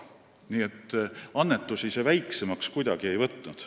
Nii et annetuste mahtu ei ole see kuidagi väiksemaks võtnud.